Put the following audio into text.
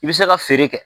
I bɛ se ka feere kɛ